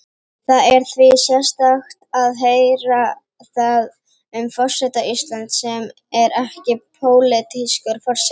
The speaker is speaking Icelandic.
Það er því sérstakt að heyra það um forseta Íslands, sem er ekki pólitískur forseti.